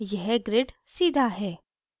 यह grid सीधा है